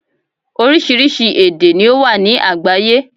Orísirísi èdè ni ó wà ní àgbáyé